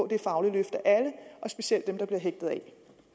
det faglige løft af alle og specielt af dem der bliver hægtet af